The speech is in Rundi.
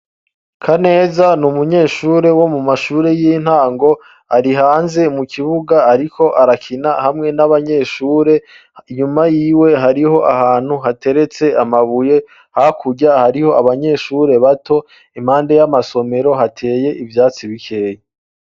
Kaneza ni umunyeshure wo mu mashuri y'intango. Ari hanze mu kibuga ariko arakina hamwe n'abanyeshure inyuma yiwe hariho ahantu hateretse amabuye hakurya hariho abanyeshure bato, impande y'amasomero hateye ibyatsi bikeye.